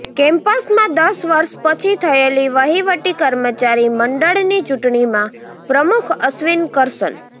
કેમ્પસમાં દસ વર્ષ પછી થયેલી વહીવટી કર્મચારી મંડળની ચૂટણીમાં પ્રમુખ અશ્વિન કરશન